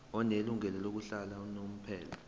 onelungelo lokuhlala unomphela